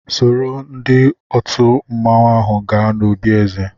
Sòró ndị òtù mmanwu áhù gaa n'òbi èzè